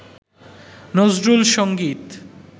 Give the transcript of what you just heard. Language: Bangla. নজরুল সঙ্গীত